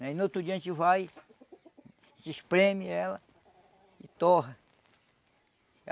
Aí no outro dia a gente vai, a gente espreme ela e torra.